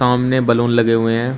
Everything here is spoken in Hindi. सामने बैलून लगे हुए हैं।